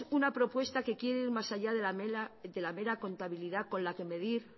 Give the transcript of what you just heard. una propuesta que quiere ir más allá de la mera contabilidad con la que medir